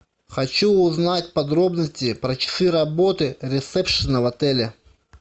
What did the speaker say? хочу узнать подробности про часы работы ресепшена в отеле